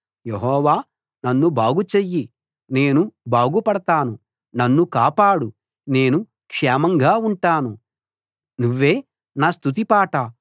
యెహోవా నన్ను బాగు చెయ్యి నేను బాగుపడతాను నన్ను కాపాడు నేను క్షేమంగా ఉంటాను నువ్వే నా స్తుతి పాట